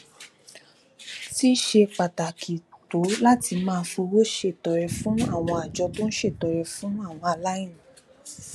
ti ṣe pàtàkì tó láti máa fowó ṣètọrẹ fún àwọn àjọ tó ń ṣètọrẹ fún àwọn aláìní